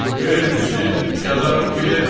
Vermirsiz, yazaram ki, vermədi.